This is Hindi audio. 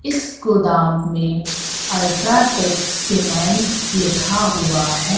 इस गोदाम में अल्ट्राटेकस सीमेंट लिखा हुआ है।